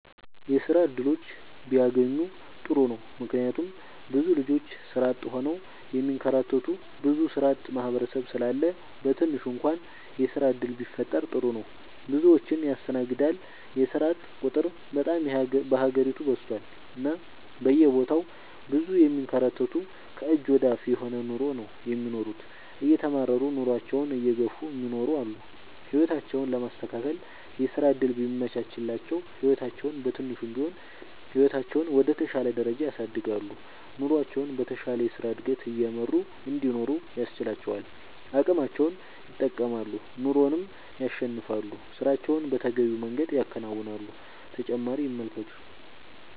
የስራ እድሎች ቢያገኙ ጥሩ ነው ምክንያቱም ብዙ ልጆች ስራ አጥ ሆነው የሚንከራተቱ ብዙ ስራአጥ ማህበረሰብ ስላለ በትንሹ እንኳን የስራ ዕድል ቢፈጠር ጥሩ ነው። ብዙዎችን ያስተናግዳል የስራአጥ ቁጥር በጣም በሀገሪቱ በዝቷል እና በየቦታው ብዙ የሚንከራተቱ ከእጅ ወደ አፍ የሆነ ኑሮ ነው የሚኖሩት እየተማረሩ ኑሮአቸውን እየገፍ እሚኖሩ አሉ። ህይወታቸውን ለማስተካከል የስራ ዕድል ቢመቻችላቸው ህይወታቸውን በትንሹም ቢሆን ህይወታቸውን ወደ ተሻለ ደረጃ ያሳድጋሉ። ኑሮቸውን በተሻለ የስራ ዕድገት እየመሩ እንዲኖሩ ያስችላቸዋል አቅማቸውን ይጠቀማሉ ኑሮንም ያሸንፋሉ። ስራቸውን በተገቢው መንገድ ያከናውናሉ።…ተጨማሪ ይመልከቱ